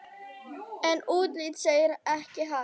En útlitið segir ekki allt.